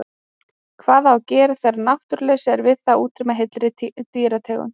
Hvað á að gera þegar náttúruleysi er við það að útrýma heilli dýrategund?